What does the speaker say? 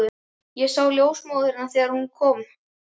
Ég sá ljósmóðurina þegar hún kom.